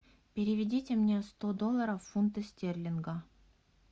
переведите мне сто долларов в фунты стерлинга